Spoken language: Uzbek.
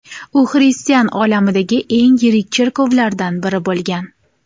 U xristian olamidagi eng yirik cherkovlardan biri bo‘lgan.